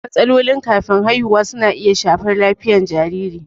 Matsalolin kafin haihuwa na iya shafar lafiyar jariri.